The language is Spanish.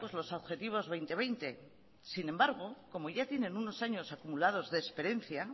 los objetivos dos mil veinte sin embargo como ya tienen unos años acumulados de experiencia